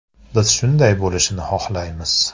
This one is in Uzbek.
“Biz shunday bo‘lishini xohlaymiz.